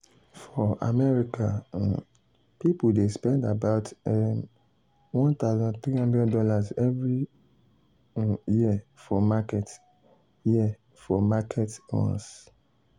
for america um people dey spend about [um]one thousand three hundred dollarsevery um year for market year for market runs.